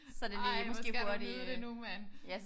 Ej hvor skal du nyde det nu mand!